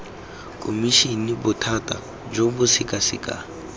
khomišene bothati jo bo sekasekang